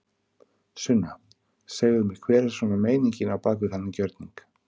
Sunna: Segðu mér hver er svona meiningin á bak við þennan gjörning?